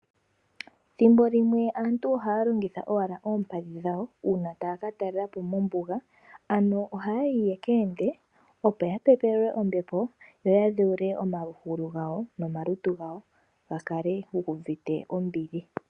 Thimbolimwe aantu ohaya longitha owala oompadhi dhawo uuna taya ka talelapo mombuga, ano oha yayi ya ka ende, opo ya pepelwe ombepo , yo ya dhewule omagulu gawo nomalutu gawo, ga kale gu uvite ombili.